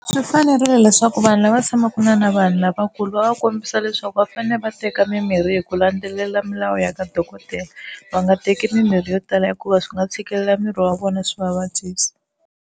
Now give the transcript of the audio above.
Swi fanerile leswaku vanhu lava tshamaka na na vanhu lavakulu va va kombisa leswaku va fanele va teka mimirhi hi ku landzelela milawu ya ka dokodela va nga teki mimirhi yo tala hikuva swi nga tshikelela miri wa vona swi va vabyisa.